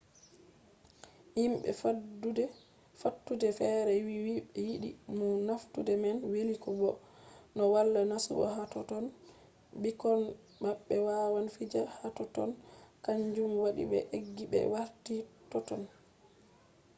himɓe fattude fere wi ɓe yiɗi no fattude man weli bo no wala masibo hatotton ɓikkoi maɓɓe wawan fija hatotton kanjum waɗi be eggi ɓe warti totton